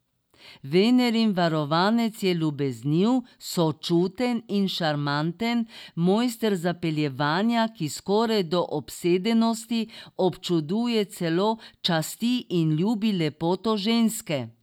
Venerin varovanec je ljubezniv, sočuten in šarmanten, mojster zapeljevanja, ki skoraj do obsedenosti občuduje, celo časti in ljubi lepoto ženske.